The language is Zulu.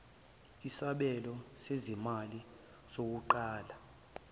isabelo sezimali sokuqala